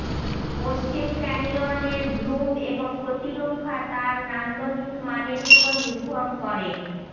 পশ্চিম canyon এর bloom এর প্রতিরক্ষা তার নান্দনিক মানের উপর নির্ভর করে